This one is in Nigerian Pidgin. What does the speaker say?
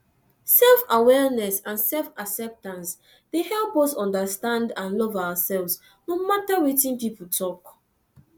selfawareness and selfacceptance dey help us understand and love ourselves no matter wetin people talk